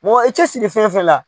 Mɔgɔ i cɛ siri fɛn fɛn la.